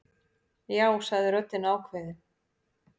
Já, sagði röddin ákveðin.